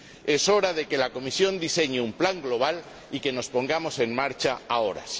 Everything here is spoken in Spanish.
Es hora de que la Comisión diseñe un plan global y que nos pongamos en marcha ahora.